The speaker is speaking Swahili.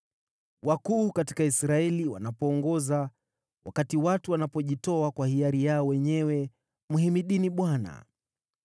“Wakuu katika Israeli wanapoongoza, wakati watu wanapojitoa kwa hiari yao wenyewe: mhimidini Bwana !